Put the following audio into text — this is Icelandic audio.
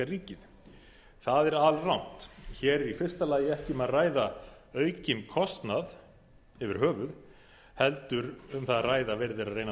ríkið það er alrangt hér er í fyrsta lagi ekki um að ræða aukinn kostnað yfir höfuð heldur um það að ræða að verið er að reyna að